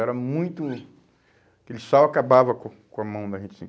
Era muito... Aquele sal acabava com com a mão da gente assim.